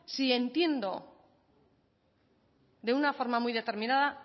si entiendo de una forma muy determinada